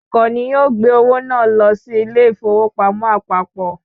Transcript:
Ọkọ̀ ni yóò gbé owó náà lọ sí ilé ìfowópamọ́ àpapọ̀